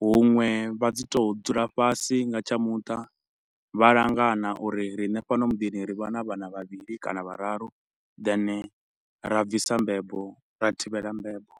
huṅwe vha dzi tou dzula fhasi nga tsha muṱa vha langana uri riṋe fhano muḓini ri vha na vhana vhavhili kana vhararu then ra bvisa mbebo, ra thivhela mbebo.